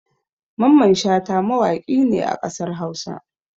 Mamman Shata mawaƙi ne a ƙasar Hausa.